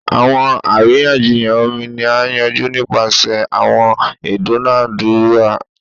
Awọn ariyanjiyan omi ni a yanju nipasẹ awọn idunadura